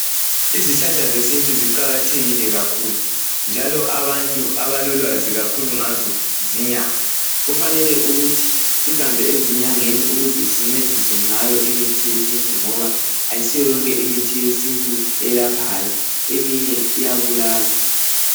izihlahla zesintu ziqakathekile kakhulu njalo abantu abalolwazi kakhulu ngazo zinyanga kufanele ukuthi sihambe ezinyangeni ukuze sincediswe ngayo imithi yesintu ngoba ayisiyo yonke imithi yesintu elaphayo eminye iyabulala